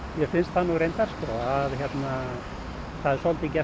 mér finnst það nú reyndar það er svolítið